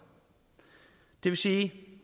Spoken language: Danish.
det vil sige at